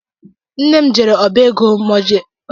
Nna m jere ọbá égo mọọgeeji taa.